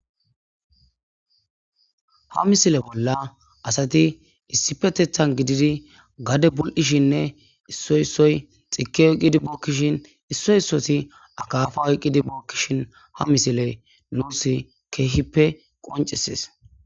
Ha missille bolla asati issipeteththan gididi gaade bulishenne issoy issoy xiike oyqqidi bookishin isso issoti akaffa oyqqidi bokishin ha missiley nus kehippe qoncises.